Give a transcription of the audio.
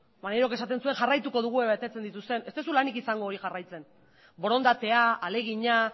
maneirok esaten zuen jarraituko dugu ea betetzen duten ez duzu lanik izango hori jarraitzen borondatea ahalegina